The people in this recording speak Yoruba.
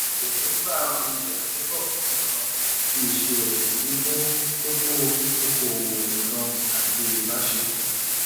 èróńgbà ohun ìyàsọtọ ǹkankan tí ìṣirò kò sì fún kókó okòwò nìkan àti ìbáṣepọ